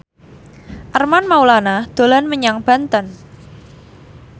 Armand Maulana dolan menyang Banten